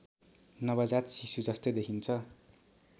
नवजात शिशुजस्तै देखिन्छ